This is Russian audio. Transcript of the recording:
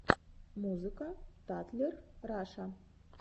музыка татлер раша